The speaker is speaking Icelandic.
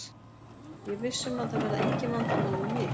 Ég er viss um að það verða engin vandamál með mig.